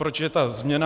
Proč je ta změna?